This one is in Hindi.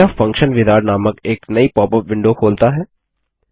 यह फंक्शन विजार्ड नामक एक नई पॉपअप विंडो खोलता है